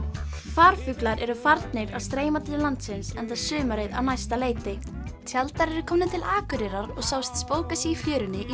farfuglar eru farnir að streyma til landsins enda sumarið á næsta leyti tjaldar eru komnir til Akureyrar og sáust spóka sig í fjörunni í